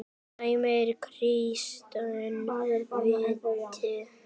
Viljið fá það fyrir þingrof?